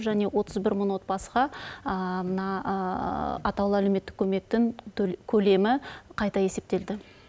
және отыз бір мың отбасыға мына атаулы әлеуметтік көмектің көлемі қайта есептелді